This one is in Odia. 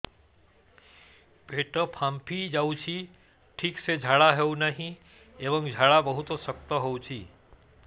ପେଟ ଫାମ୍ପି ଯାଉଛି ଠିକ ସେ ଝାଡା ହେଉନାହିଁ ଏବଂ ଝାଡା ବହୁତ ଶକ୍ତ ହେଉଛି